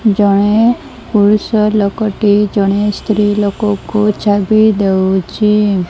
ଜଣେ ପୁରୁଷ ଲୋକ ଟି ଜଣେ ସ୍ତ୍ରୀ ଲୋକ କୁ ଚାବି ଦେଉଛି।